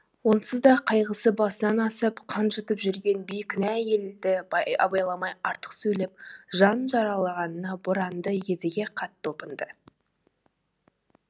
онсыз да қайғысы басынан асып қан жұтып жүрген бейкүнә әйелді абайламай артық сөйлеп жанын жаралағанына боранды едіге қатты опынды